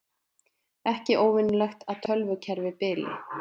Ekki óvenjulegt að tölvukerfi bili